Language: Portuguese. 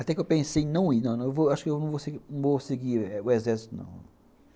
Até que eu pensei em não ir, não, acho que eu não vou seguir o exército, não.